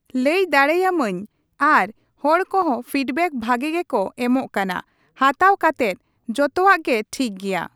ᱞᱟᱹᱭ ᱫᱟᱲᱮᱭᱟᱹᱢᱟᱹᱧ ᱟᱨ ᱦᱚᱲ ᱠᱚᱦᱚᱸ ᱯᱷᱤᱰᱵᱮᱠ ᱵᱷᱟᱜᱤ ᱜᱮᱠᱚ ᱮᱢᱚᱜ ᱠᱟᱱᱟ ᱦᱟᱛᱟᱣ ᱠᱟᱛᱮᱫ ᱡᱚᱛᱚᱣᱟᱜ ᱜᱮ ᱴᱷᱤᱠᱜᱮᱭᱟ ᱾